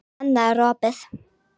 Annað er opið.